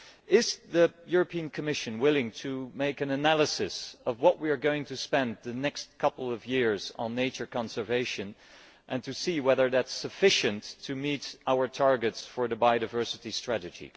Is the European Commission willing to make an analysis of what we are going to spend in the next couple of years on nature conservation and see whether that is sufficient to meet our targets for the Biodiversity Strategy?